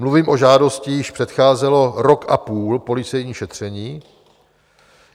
Mluvím o žádosti, jíž předcházelo rok a půl policejní šetření.